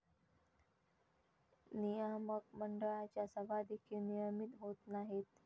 नियामक मंडळाच्या सभा देखील नियमित होत नाहीत.